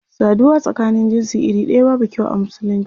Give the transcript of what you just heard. Saduwa tsakanin jinsi iri daya babu kyau a musulunci.